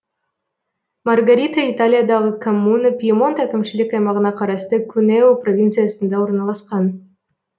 маргарита италиядағы коммуна пьемонт әкімшілік аймағына қарасты кунео провинциясында орналасқан